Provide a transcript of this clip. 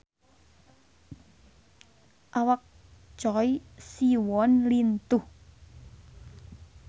Awak Choi Siwon lintuh